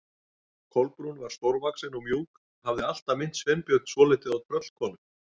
Kolbrún var stórvaxin og mjúk, hafði alltaf minnt Sveinbjörn svolítið á tröllkonu.